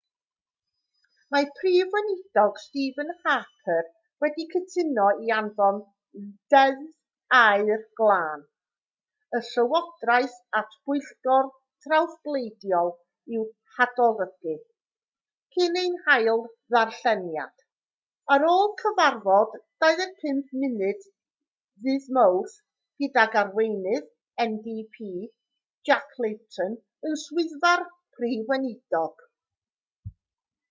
mae'r prif weinidog stephen harper wedi cytuno i anfon deddf aer glân y llywodraeth at bwyllgor trawsbleidiol i'w hadolygu cyn ei hail ddarlleniad ar ôl cyfarfod 25 munud ddydd mawrth gydag arweinydd ndp jack layton yn swyddfa'r prif weinidog